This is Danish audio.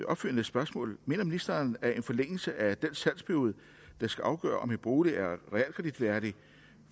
opfølgende spørgsmål mener ministeren at en forlængelse af den salgsperiode der skal afgøre om en bolig er realkreditværdig